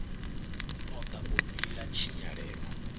tod a u vhila tshinyalelo